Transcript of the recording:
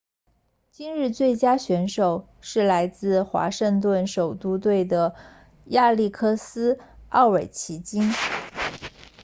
今日最佳选手是来自华盛顿首都队的亚历克斯奥韦奇金